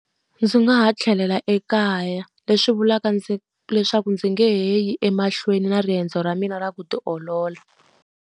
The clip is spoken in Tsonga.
Ndzi nga ha tlhelela ekaya, leswi vulaka ndzi leswaku ndzi nge he yi emahlweni na riendzo ra mina ra ku tiolola.